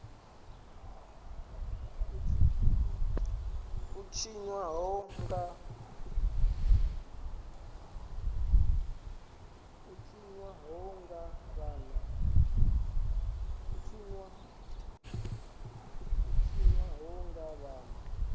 u tshinwa ho nga vhanna